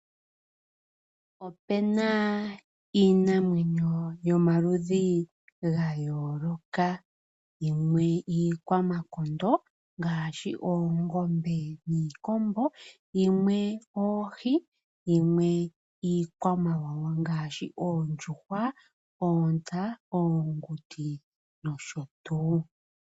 Opuna iinamwenyo yomaludhi gayooloka yimwe iikwamakondo ngaashi oongombe niikombo . Yimwe oohi, yimwe iikwamawawa ngaashi oondjuhwa, oontsa, oonguti nosho tuu.